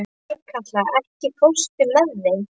Þorkatla, ekki fórstu með þeim?